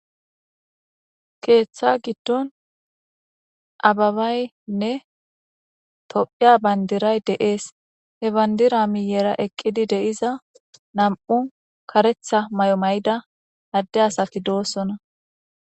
keeththa giddon ababaynne tophiya bayndiray deees he bandira miyera eqqidi deiza nam7u karetha may7o may7da adde asaki doossona